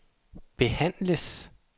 behandles